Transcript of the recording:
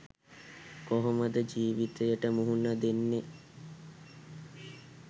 කොහොමද ජීවියට මුහුණ දෙන්නේ